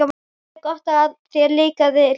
Það er gott að þér líkaði ljóðið.